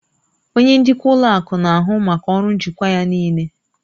Onye njikwa ụlọ akụ na-ahụ maka ọrụ njikwa ya niile